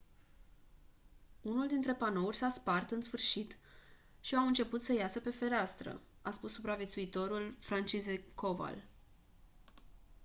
unul dintre panouri s-a spart în sfârșit și au început să iasă pe fereastră a spus supraviețuitorul franciszek kowal